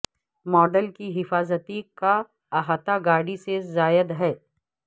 model کی حفاظتی کا احاطہ گاڑی سے زائد ہے